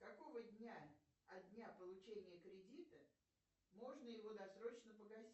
какого дня от дня получения кредита можно его досрочно погасить